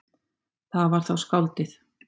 Það var þá skáldið.